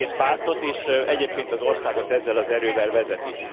Aki az egész pártot és egyébként az országot ezzel az erővel vezeti.